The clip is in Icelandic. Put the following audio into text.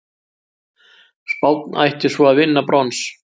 Spánn ætti svo að vinna brons